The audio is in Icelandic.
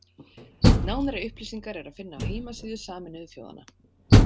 Nánari upplýsingar er að finna á heimasíðu Sameinuðu þjóðanna.